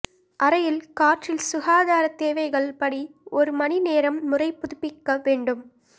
அறையில் காற்றில் சுகாதார தேவைகள் படி ஒரு மணி நேரம் முறை புதுப்பிக்க வேண்டும்